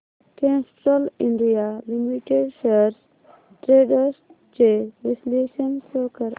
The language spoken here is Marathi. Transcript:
Castrol India limited shares trends चे विश्लेषण शो कर